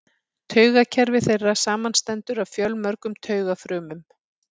Taugakerfi þeirra samanstendur af fjölmörgum taugafrumum.